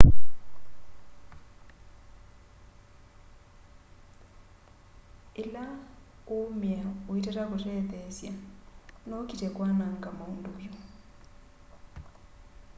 ila uumia uitata kutetheesya no ukite kwananga maundu vyu